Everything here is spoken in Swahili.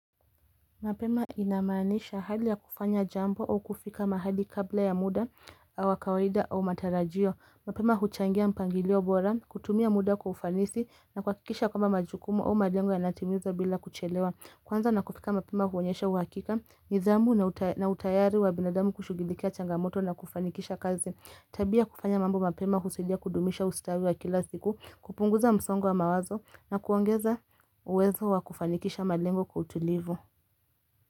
Mapema inamaanisha hali ya kufanya jambo au kufika mahali kabla ya muda au wa kawaida au matarajio. Mapema huchangia mpangilio bora, kutumia muda kwa ufanisi na kuhakikisha kwamba majukumu au malengo yanatimizwa bila kuchelewa. Kwanza na kufika mapema huonyesha uhakika, nidhamu na utayari wa binadamu kushugilikia changamoto na kufanikisha kazi. Tabia kufanya mambo mapema husaidia kudumisha ustawi wa kila siku, kupunguza msongo wa mawazo na kuongeza uwezo wa kufanikisha malengo kwa utulivu.